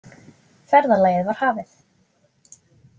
Ferðalagið var hafið.